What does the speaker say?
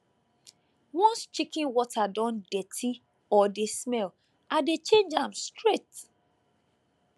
once chicken water don dirty or dey smell i dey change am straight